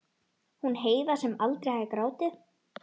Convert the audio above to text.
Hún Heiða sem aldrei hafði grátið.